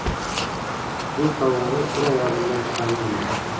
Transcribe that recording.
Bu sovg‘ani sira yodimdan chiqarmayman.